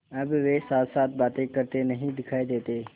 अब वे साथसाथ बातें करते नहीं दिखायी देते